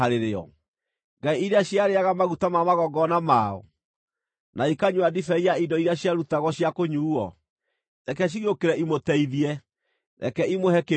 ngai iria ciarĩĩaga maguta ma magongona mao, na ikanyua ndibei ya indo iria ciarutagwo cia kũnyuuo? Reke cigĩũkĩre imũteithie! Reke imũhe kĩĩgitio!